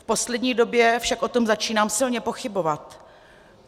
V poslední době však o tom začínám silně pochybovat.